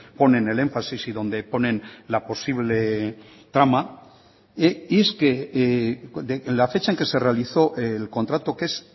ponen el énfasis y donde ponen la posible trama y es que la fecha en que se realizó el contrato que es